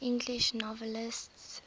english novelists